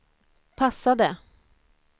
passade